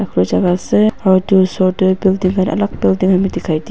jaka ase aru edu osor tae building khan alak building khan bi dikhai--